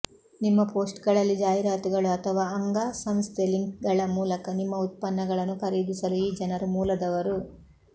ನಿಮ್ಮ ಪೋಸ್ಟ್ಗಳಲ್ಲಿ ಜಾಹೀರಾತುಗಳು ಅಥವಾ ಅಂಗಸಂಸ್ಥೆ ಲಿಂಕ್ಗಳ ಮೂಲಕ ನಿಮ್ಮ ಉತ್ಪನ್ನಗಳನ್ನು ಖರೀದಿಸಲು ಈ ಜನರು ಮೂಲದವರು